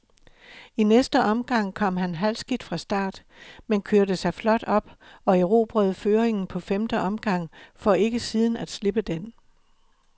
I næste omgang kom han halvskidt fra start, men kørte sig flot op og erobrede føringen på femte omgang, for ikke siden at slippe den.